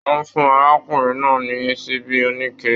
Wọn fún arákùnrin náà ní ṣíbí onike.